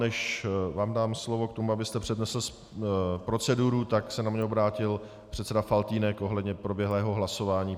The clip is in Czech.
Než vám dám slovo k tomu, abyste přednesl proceduru, tak se na mě obrátil předseda Faltýnek ohledně proběhlého hlasování.